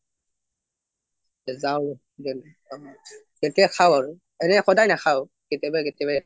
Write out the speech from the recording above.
যাও তেতিয়া খাও আৰু কেতিয়াবা কেতিয়াবা